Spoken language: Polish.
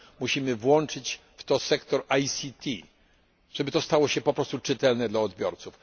Musimy włączyć w to sektor ICT, żeby stało się to po prostu czytelne dla odbiorców.